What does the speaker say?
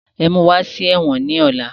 Ẹ̀mú wá sí ẹ̀wọ̀n ni ọ̀la!